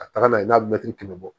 Ka taga n'a ye n'a mɛtiri bɔ